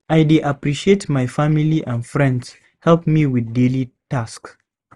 I dey appreciate when my family and friends help me with daily tasks.